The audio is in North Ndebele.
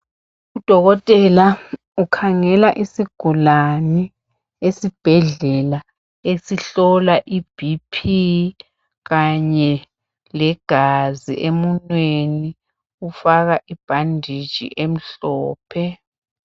Udokotela ukhangela isigulane esibhedlela, esihlola iBP kanye legazi. Emunweni ufaka ibhanditshi emhlophe.